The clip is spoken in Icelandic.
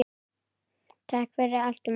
Takk fyrir allt, Maggi.